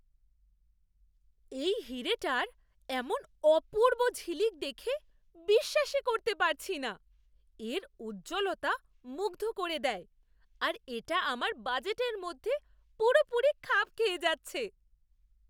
এই হিরেটার এমন অপূর্ব ঝিলিক দেখে বিশ্বাসই করতে পারছি না! এর উজ্জ্বলতা মুগ্ধ করে দেয়, আর এটা আমার বাজেটের মধ্যে পুরোপুরি খাপ খেয়ে যাচ্ছে।